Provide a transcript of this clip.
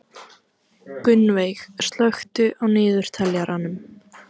Gunnveig, slökktu á niðurteljaranum.